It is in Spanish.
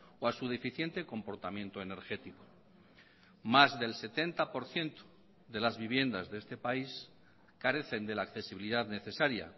o a su deficiente comportamiento energético más del setenta por ciento de las viviendas de este país carecen de la accesibilidad necesaria